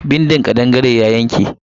Bindin kadangare ya yanke.